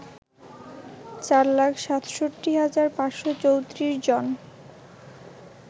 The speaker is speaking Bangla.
৪ লাখ ৬৭ হাজার ৫৩৪ জন